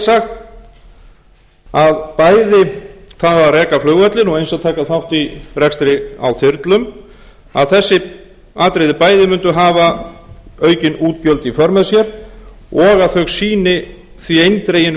er sagt að bæði það að reka flugvöllinn og eins að taka þátt í rekstri á þyrlum að þessi atriði bæði mundu hafa aukin útgjöld í för með sér og að þau sýni því eindreginn vilja